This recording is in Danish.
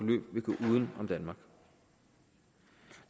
uden om danmark